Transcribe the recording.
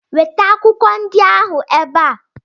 Weta akwụkwọ ndị ahụ ebe a!